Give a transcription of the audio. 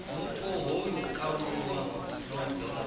mupo ho kalulaho no ḓo